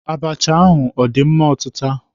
Abacha ahụ ọ dị mma ọtịta?